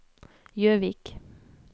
Jøvik